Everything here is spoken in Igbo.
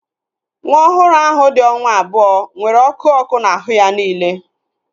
Nwa ọhụrụ ahu dị onwa abụọ nwere ọkụ ọkụ na ahụ ya niile